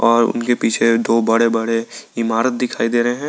और उनके पीछे दो बड़े बड़े इमारत दिखाई दे रहे हैं।